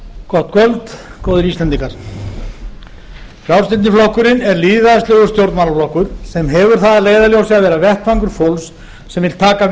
gott kvöld góðir íslendingar frjálslyndi flokkurinn er lýðræðislegur stjórnmálaflokkur sem hefur það að leiðarljósi að vera vettvangur fólks sem vill taka